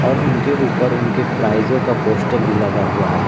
और उनके ऊपर उनके प्राइजो का पोस्टर भी लगा हुआ है।